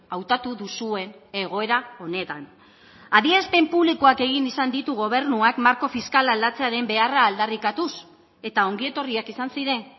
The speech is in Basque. hautatu duzuen egoera honetan adierazpen publikoak egin izan ditu gobernuak marko fiskala aldatzearen beharra aldarrikatuz eta ongietorriak izan ziren